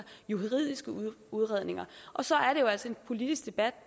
juridiske udredninger og så er der jo altså en politisk debat